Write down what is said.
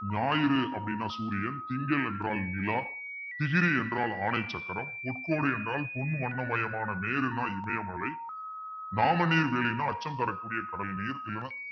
ஞாயிறு அப்பிடின்னா சூரியன் திங்கள் என்றால் நிலா திகிரி என்றால் ஆடை சக்கரம் பொற்கோட்டு என்றால் பொன் வண்ணமயமான மேருன்னா இமயமலை நாமநீர் வேலின்னா அச்சம் தரக்கூடிய கடல் நீர் இல்லன்னா